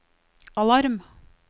alarm